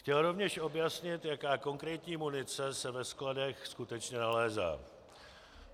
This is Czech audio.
Chtěl rovněž objasnit, jaká konkrétní munice se ve skladech skutečně nalézá.